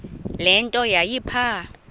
le nto yayipha